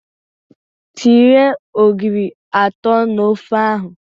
Tinye ogiri atọ n'ofe ahụ!